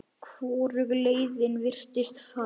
Hvorug leiðin virtist fær.